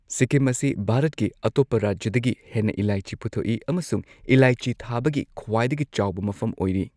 ꯁꯤꯛꯀꯤꯝ ꯑꯁꯤ ꯚꯥꯔꯠꯀꯤ ꯑꯇꯣꯞꯄ ꯔꯥꯖ꯭ꯌꯗꯒꯤ ꯍꯦꯟꯅ ꯏꯂꯥꯏꯆꯤ ꯄꯨꯊꯣꯛꯏ ꯑꯃꯁꯨꯡ ꯏꯂꯥꯏꯆꯤ ꯊꯥꯕꯒꯤ ꯈ꯭ꯋꯥꯏꯗꯒꯤ ꯆꯥꯎꯕ ꯃꯐꯝ ꯑꯣꯏꯔꯤ꯫